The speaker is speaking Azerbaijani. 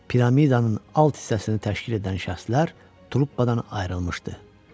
Piramidanın alt hissəsini təşkil edən şəxslər truppadan ayrılmışdı.